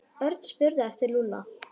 Örn spurði eftir Lúlla.